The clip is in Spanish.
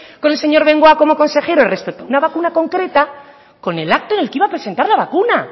con el señor bengoa como consejero respecto a una vacuna concreta con el acto en el que iba a presentar la vacuna